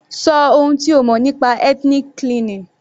Ṣọ ohun tí o mọ̀ nípa ethnic cleansing.